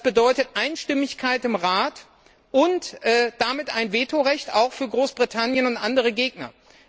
Das bedeutet Einstimmigkeit im Rat und damit auch ein Vetorecht für Großbritannien und andere Gegner.